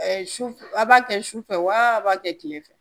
A b'a kɛ sufɛ wa a b'a kɛ tile fɛ